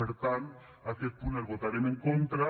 per tant aquest punt el votarem en contra